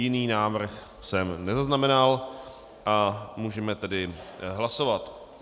Jiný návrh jsem nezaznamenal a můžeme tedy hlasovat.